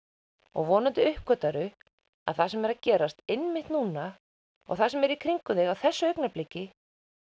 og vonandi uppgötvarðu að það sem er að gerast einmitt núna og það sem er í kringum þig á þessu augnabliki